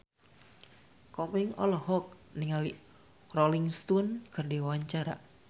Komeng olohok ningali Rolling Stone keur diwawancara